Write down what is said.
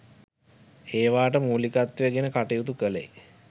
ඒවාට මූලිකත්වය ගෙන කටයුතු කලේ